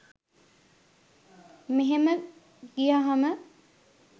මෙහෙම ගියහම